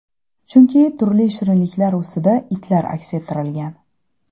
Chunki turli shirinliklar ustida itlar aks ettirilgan.